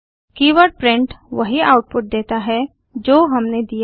keyword print वही output देता है जो हमने दिया है